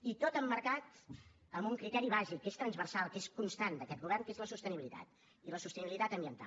i tot emmarcat amb un criteri bàsic que és transversal que és constant d’aquest govern que és la sostenibilitat i la sostenibilitat ambiental